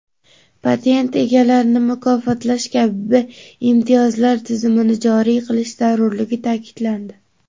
patent egalarini mukofotlash kabi imtiyozlar tizimini joriy qilish zarurligi ta’kidlandi.